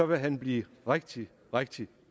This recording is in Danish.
vil han blive rigtig rigtig